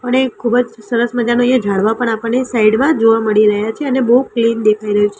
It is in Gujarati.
અને ખુબજ સરસ મજાનુ અહિયા ઝાડવા પણ આપણને સાઇડ મા જોવા મળી રહ્યા છે અને બૌ ક્લીન દેખાય રહ્યુ --